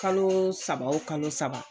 Kalo saba o kalo saba